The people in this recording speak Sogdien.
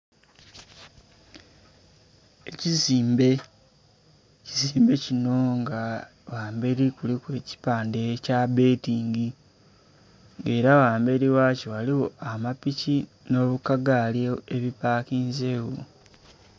Ekizimbe, ekizimbe kino ghamberi kuliku ekipande ekya bbetingi era ghamberi wakyo ghaligho amapiki n'akagaali ebipakinze gho.